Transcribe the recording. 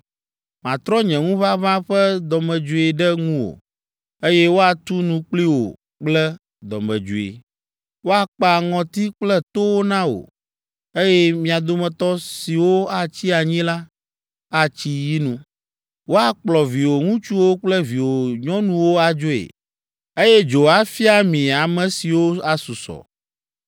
Matrɔ nye ŋuʋaʋã ƒe dɔmedzoe ɖe ŋuwò, eye woatu nu kpli wò kple dɔmedzoe. Woakpa ŋɔti kple towo na wò, eye mia dometɔ siwo atsi anyi la, atsi yinu. Woakplɔ viwò ŋutsuwo kple viwò nyɔnuwo adzoe, eye dzo afia mi ame siwo asusɔ.